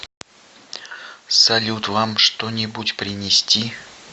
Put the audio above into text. салют вам что нибудь принести